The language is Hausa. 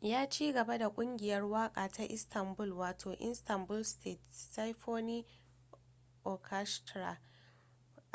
ya cigaba da kungiyar waka ta istanbul wato istanbul state symphony orchestra